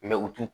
u t'u